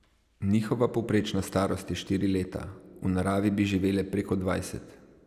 Njihova povprečna starost je štiri leta, v naravi bi živele preko dvajset.